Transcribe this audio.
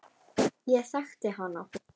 Ég þekkti hana.